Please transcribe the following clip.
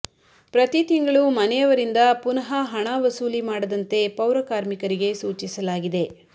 ಪ್ರತಿ ತಿಂಗಳು ಮನೆಯವರಿಂದ ಪುನಃ ಹಣ ವಸೂಲಿ ಮಾಡದಂತೆ ಪೌರಕಾರ್ಮಿಕರಿಗೆ ಸೂಚಿಸಲಾಗಿದೆ